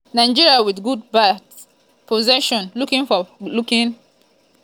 nigeria wit good ba;; possession looking for looking for goal wey fit enta di net from any angle.